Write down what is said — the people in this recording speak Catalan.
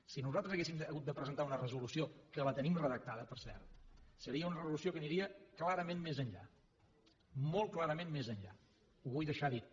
si nosaltres haguéssim hagut de presentar una resolució que la tenim redactada per cert seria una resolució que aniria clarament més enllà molt clarament més enllà ho vull deixar dit